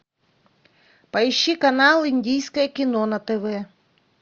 поищи канал индийское кино на тв